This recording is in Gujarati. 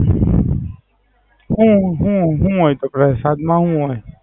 હુ હુ હુ હોય કે પ્રસાદ માં હુ હોય?